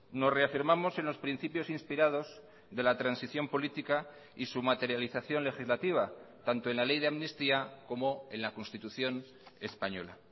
nos reafirmamos en los principios inspirados de la transición política y su materialización legislativa tanto en la ley de amnistía como en la constitución española